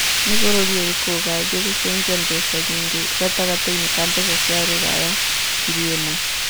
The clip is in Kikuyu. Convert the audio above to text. ni bũrũri ũrĩkũ ũgathĩe gũcenjia mbeca nyĩngi gatagatĩini ka mbeca cia rũraya ngĩri ĩmwe